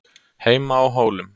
HEIMA Á HÓLUM